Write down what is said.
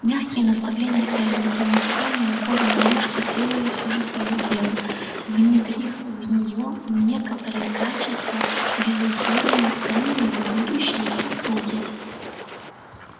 мягкие наставления эллин и неустанные укоры мамушки сделали всё же своё дело внедрив в неё некоторые качества безусловно ценные в будущей супруге